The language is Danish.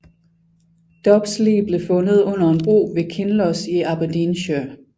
Dubhs lig blev fundet under en bro ved Kinloss i Aberdeenshire